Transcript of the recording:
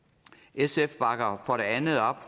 sf bakker for det andet op